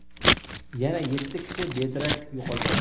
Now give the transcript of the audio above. yana yetti kishi bedarak yo‘qolgan.